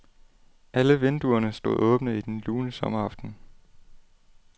Alle vinduerne stod åbne i den lune sommeraften.